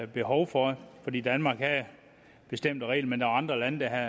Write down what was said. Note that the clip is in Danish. behov for fordi danmark havde bestemte regler men der var andre lande der